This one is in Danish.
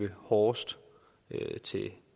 hårdest til